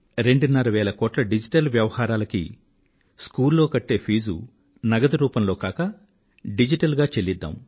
రెండున్నర వేల కోట్ల డిజిటల్ లావాదేవీలకు బడిలో కట్టే రుసుం నగదు రూపంలో కాక డిజిటల్ గా చెల్లిద్దాం